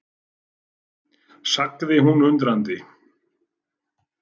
sagði hún undrandi.